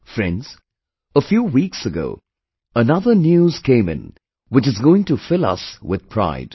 Friends, a few weeks ago another news came which is going to fill us with pride